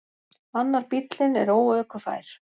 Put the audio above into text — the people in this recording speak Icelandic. Annar bíllinn er óökufær.